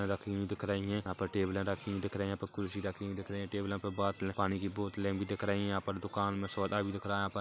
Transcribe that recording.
रखी हुई दिख रही है यहाँ पर टेबले रखी हुई दिख रही है यहाँ पर ख़ुर्शी रखी हुई दिख रही है टेबलो पर बोटल पानी की बोटले भी दिख रही है यहाँ पर दुकान में सोदा भी दिख रहा है यहाँ पर।